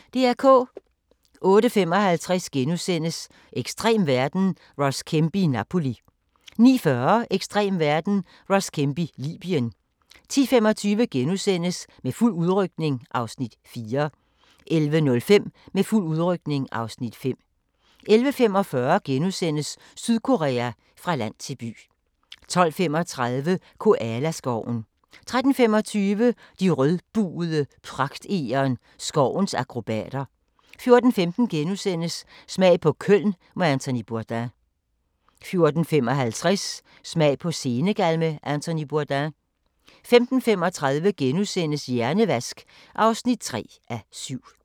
08:55: Ekstrem verden – Ross Kemp i Napoli * 09:40: Ekstrem verden – Ross Kemp i Libyen 10:25: Med fuld udrykning (Afs. 4)* 11:05: Med fuld udrykning (Afs. 5) 11:45: Sydkorea – fra land til by * 12:35: Koala-skoven 13:25: De rødbugede pragtegern – skovens akrobater 14:15: Smag på Köln med Anthony Bourdain * 14:55: Smag på Senegal med Anthony Bourdain 15:35: Hjernevask (3:7)*